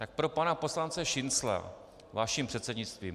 Tak pro pana poslance Šincla vaším předsednictvím.